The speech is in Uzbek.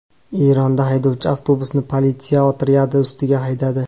Eronda haydovchi avtobusni politsiya otryadi ustiga haydadi .